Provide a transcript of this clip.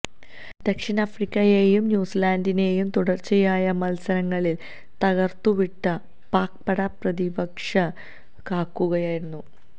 ദക്ഷിണാഫ്രിക്കയെയും ന്യൂസിലാന്ഡിനെയും തുടര്ച്ചയായ മല്സരങ്ങളില് തകര്ത്തുവിട്ട് പാക് പട പ്രതീക്ഷ കാക്കുകയായിരുന്നു